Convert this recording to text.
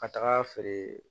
Ka taga feere